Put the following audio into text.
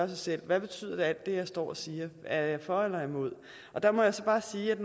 sig selv hvad alt det jeg står og siger er jeg for eller imod der må jeg så bare sige at